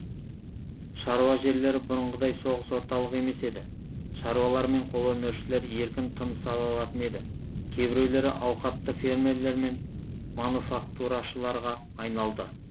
шаруа жерлері бұрынғыдай соғыс орталығы емес еді шаруалар мен қолөнершілер еркін тыныс ала алатын еді кейбіреулері ауқатты фермерлер мен мануфактурашыларға айналды